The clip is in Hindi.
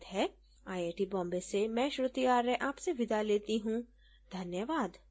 यह स्क्रिप्ट बिंदु पांडे द्वारा अनुवादित है आईआईटी बॉम्बे की ओर से मैं श्रुति आर्य अब आपसे विदा लेती हूँ धन्यवाद